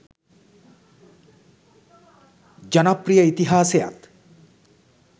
ජනප්‍රිය ඉතිහාසයත්